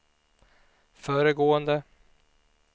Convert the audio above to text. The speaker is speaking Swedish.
föregående